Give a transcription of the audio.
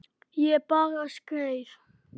Ég bara skreið